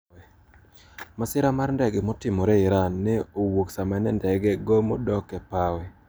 Masira mar ndege motimore Iran ne owuok sama ne ndege gomo dok e pawe.